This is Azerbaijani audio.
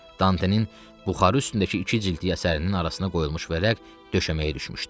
Dantenin buxarı üstündəki iki cildli əsərinin arasına qoyulmuş vərəq döşəməyə düşmüşdü.